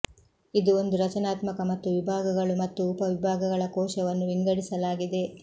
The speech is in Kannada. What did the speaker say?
ಇದು ಒಂದು ರಚನಾತ್ಮಕ ಮತ್ತು ವಿಭಾಗಗಳು ಮತ್ತು ಉಪವಿಭಾಗಗಳ ಕೋಶವನ್ನು ವಿಂಗಡಿಸಲಾಗಿದೆ